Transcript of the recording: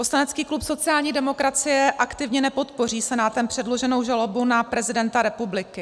Poslanecký klub sociální demokracie aktivně nepodpoří Senátem předloženou žalobu na prezidenta republiky.